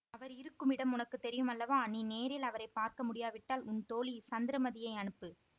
அவர் இருக்குமிடம் உனக்கு தெரியும் அல்லவா நீ நேரில் அவரை பார்க்க முடியாவிட்டால் உன் தோழி சந்திரமதியை அனுப்பு